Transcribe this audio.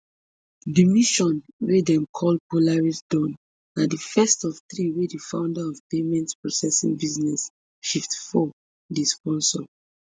di mission wey dem call polaris dawn na di first of three wey di founder of payments processing business shiftfour dey sponsor